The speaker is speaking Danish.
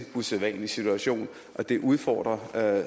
usædvanlig situation og det udfordrer